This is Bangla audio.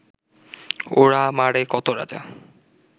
ওরা মারে কত রাজা